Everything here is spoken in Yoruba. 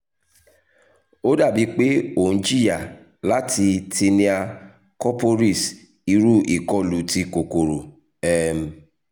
o dabi pe o n jiya lati tinea corporis iru ikolu ti kokoro um